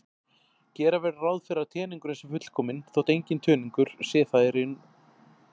Gera verður ráð fyrir að teningurinn sé fullkominn þótt enginn teningur sé það í raun.